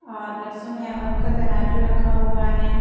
और लहसुन है और उनका तराजू रखा हुआ है।